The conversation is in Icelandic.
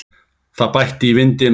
Það bætti í vindinn og